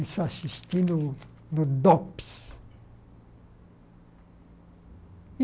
Isso eu assistindo no Dops.